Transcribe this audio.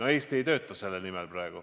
Aga Eesti ei tööta praegu selle nimel.